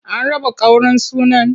An raba ƙaurin sunan?